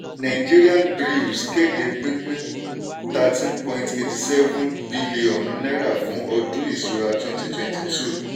nigerian breweries kéde pínpín thirteen point eighty seven bílíọ̀nù naira fún ọdún ìṣúra twenty twenty two.